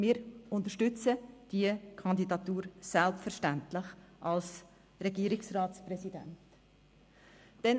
Wir unterstützen diese Kandidatur für das Regierungsratspräsidium selbstverständlich.